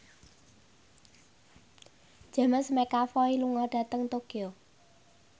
James McAvoy lunga dhateng Tokyo